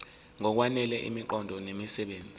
ngokwanele imiqondo nemisebenzi